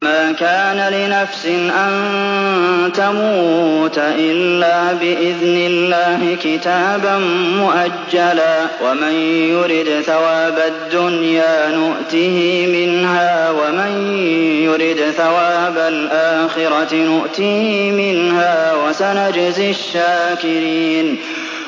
وَمَا كَانَ لِنَفْسٍ أَن تَمُوتَ إِلَّا بِإِذْنِ اللَّهِ كِتَابًا مُّؤَجَّلًا ۗ وَمَن يُرِدْ ثَوَابَ الدُّنْيَا نُؤْتِهِ مِنْهَا وَمَن يُرِدْ ثَوَابَ الْآخِرَةِ نُؤْتِهِ مِنْهَا ۚ وَسَنَجْزِي الشَّاكِرِينَ